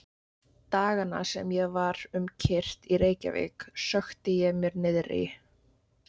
Dagana sem ég var um kyrrt í Reykjavík sökkti ég mér niðrí